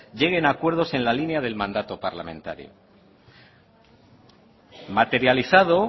lleguen a acuerdos en la línea del mandato parlamentario materializado